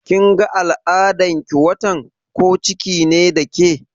Kin ga al'adan ki wannan watan, ko ciki ne da ke?